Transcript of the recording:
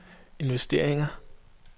investeringer